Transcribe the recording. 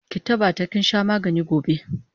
Ki tabbata kinsha magani gobe!